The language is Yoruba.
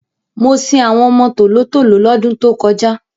Mo sin àwọn ọmọ tòló-tòló lọ́dún tó kọjá.